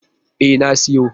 E, na siyo.